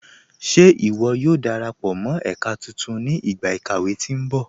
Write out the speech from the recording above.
Ṣé iwó yóò darapọ mọ ẹ̀kà tuntun ni igba ikàwé tí nbọ̀?